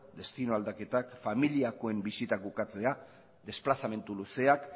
destino aldaketak familiakoen bisitak ukatzea desplazamendu luzeak